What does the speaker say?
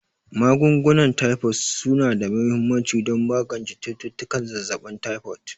Magungunan Taifod su na da mahimmanci don magance cututtukan zazzabin taifod.